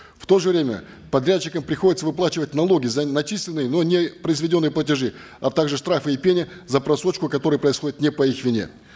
в то же время подрядчикам приходится выплачивать налоги за начисленные но не произведенные платежи а также штрафы и пени за просрочку которая происходит не по их вине